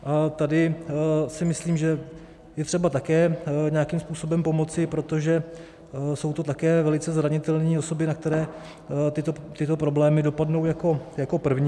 A tady si myslím, že je třeba také nějakým způsobem pomoci, protože jsou to také velice zranitelné osoby, na které tyto problémy dopadnou jako první.